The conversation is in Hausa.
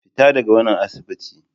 Fita daga wannan asibiti!